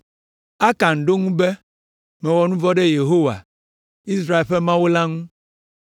Akan ɖo eŋu be, “Mewɔ nu vɔ̃ ɖe Yehowa, Israel ƒe Mawu la ŋu.